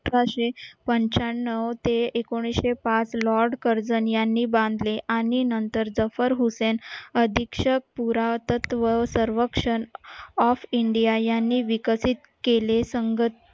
अठराशे पंच्याण्णव ते एकोणीशे पाच lord karzan यांनी बांधले आणि नंतर जफर हुसेन अधीक्षक पुरातत्त्व सर्वेक्षण of india यांनी विकसित केले